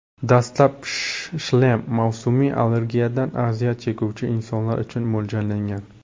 Dastlab shlem mavsumiy allergiyadan aziyat chekuvchi insonlar uchun mo‘ljallangan.